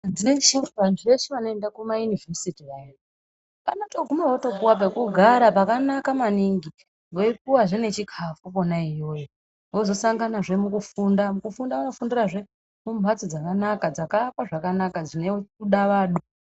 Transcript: Vantu veshe vanoende kumayunivhesiti vaya vanotoguma votopuwe pekugara pakanaka maningi, veipuwazve nechikhafu kwona iyoyo vozosanganazve mukufunda. Mukufunda vanofundirazve mumphatso dzakanaka, dzakaakwa zvakanaka dzine kudavadwa.